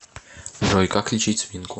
джой как лечить свинку